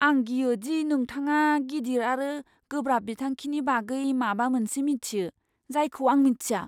आं गियो दि नोंथाङा गिदिर आरो गोब्राब बिथांखिनि बागै माबा मोनसे मिथियो, जायखौ आं मिन्थिया।